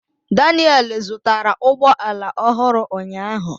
Daniel zụtara ụgbọ ala ọhụrụ ụnyaahụ.